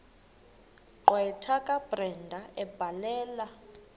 gqwetha kabrenda ebhalela